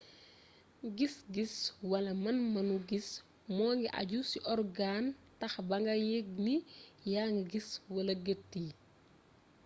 gis-gis wala man-manu gis mu ngi àju ci orgaan tax ba nga yëgg ni yaa ngi gis wala gët yi